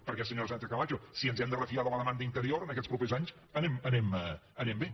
perquè senyora sánchez camacho si ens hem de refiar de la demanda interior en aquests propers anys anem bé